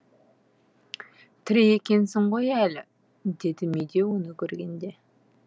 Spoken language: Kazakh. тірі екенсің ғой әлі деді медеу оны көргенде